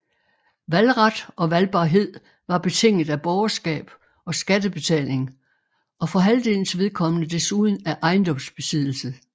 Valgret og valgbarhed var betinget af borgerskab og skattebetaling og for halvdelens vedkommende desuden af ejendomsbesiddelse